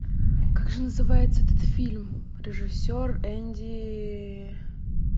как же называется этот фильм режиссер энди